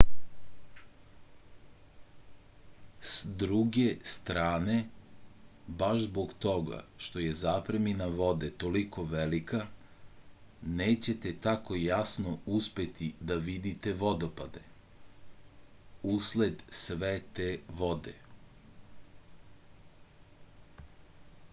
s druge strane baš zbog toga što je zapremina vode toliko velika nećete tako jasno uspeti da vidite vodopade usled sve te vode